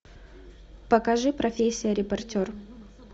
покажи профессия репортер